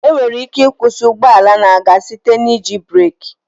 Enwere ike ịkwụsị ụgbọala na-aga site n'iji breekị